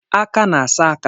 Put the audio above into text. Aka na-asa aka